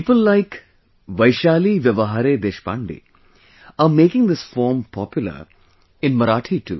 People like Vaishali Vyawahare Deshpande are making this form popular in Marathi